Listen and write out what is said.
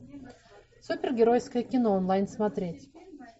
супергеройское кино онлайн смотреть